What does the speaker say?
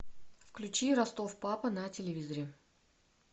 включи ростов папа на телевизоре